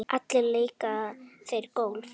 Allir leika þeir golf.